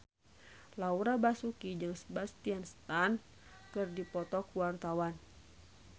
Laura Basuki jeung Sebastian Stan keur dipoto ku wartawan